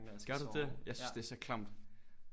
Gør du det jeg synes det er så klamt